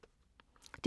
DR P2